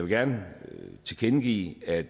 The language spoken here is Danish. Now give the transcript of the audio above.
gerne tilkendegive at